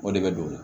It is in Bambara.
O de bɛ don o la